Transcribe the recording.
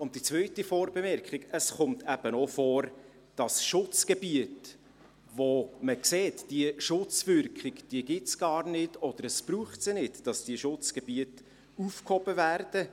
Die zweite Vorbemerkung: Es kommt im Einzelfall auch vor, dass Schutzgebiete, bei denen man sieht, dass es gar keine Schutzwirkung gibt, oder dass es sie nicht braucht, aufgehoben werden.